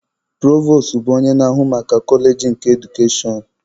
Provos bụ onye na-ahụ maka koleji nke edukashọn.